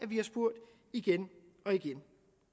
vi har spurgt igen og igen